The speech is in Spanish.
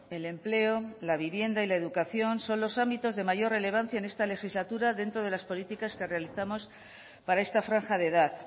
el empleo la vivienda y la educación son los ámbitos de mayor relevancia en esta legislatura dentro de las políticas que realizamos para esta franja de edad